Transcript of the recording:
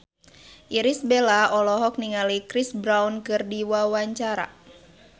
Irish Bella olohok ningali Chris Brown keur diwawancara